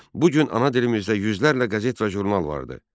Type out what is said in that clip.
Bugün ana dilimizdə yüzlərlə qəzet və jurnal vardır.